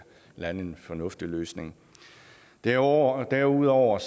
lande en fornuftig løsning derudover derudover